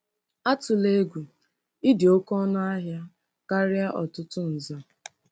Atụla egwu; Ị dị oké ọnụ ahịa karịa ọtụtụ nza.